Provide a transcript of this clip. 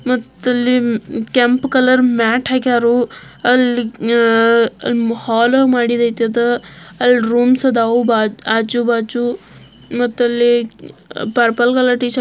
ಮತ್ತ್ ಇಲ್ಲಿ ಕೆಂಪ್ ಕಲರ್ ಮ್ಯಾಟ್ ಹಾಕ್ಯಾರು ಅಲ್ಲಿ ಹಾಲ್ ಮಾಡಿದ್ ಐತ ಅಳೀ ರೂಮ್ಸ್ಹಾ ಅದಾವು.ಅಜ್ಜು ಬಜ್ಜು ಮತ್ ಅಲ್ಲಿ ಪರ್ಪಲ್ ಕಲರ್ ಟೀಶರ್ಟ್ --